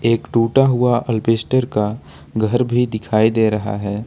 एक टूटा हुआ अल्बेस्टर का घर भी दिखाई दे रहा है।